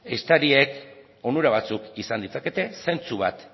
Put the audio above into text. ehiztariek onura batzuk izan ditzakete zentzu bat